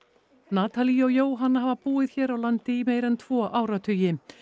natalie og Jóhanna hafa búið hér á landi í meira en tvo áratugi